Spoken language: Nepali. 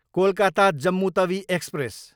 कोलकाता, जम्मु तवी एक्सप्रेस